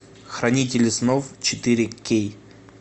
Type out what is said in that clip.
хранители снов четыре кей